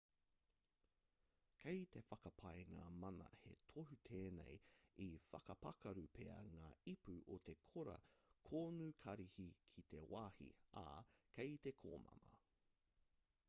kei te whakapae ngā mana he tohu tēnei i whakapakaru pea ngā ipu o te kora konukarihi ki te wāhi ā kei te komama